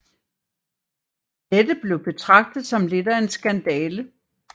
Dette blev betragtet som lidt af en skandale